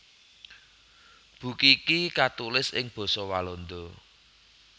Buku iki katulis ing basa Walanda